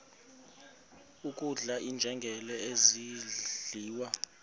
kudlala iinjengele zidliwa